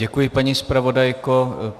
Děkuji, paní zpravodajko.